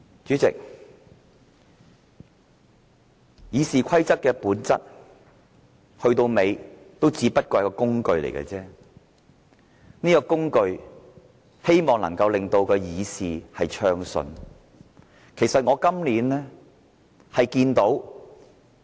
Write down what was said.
主席，《議事規則》的本質，說到底只不過是一個工具，希望能夠令議事暢順的工具。